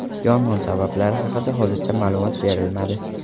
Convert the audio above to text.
Yong‘in sabablari haqida hozircha ma’lumot berilmadi.